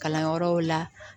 Kalanyɔrɔw la